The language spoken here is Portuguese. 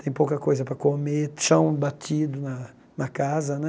Tem pouca coisa para comer, chão batido na na casa, né?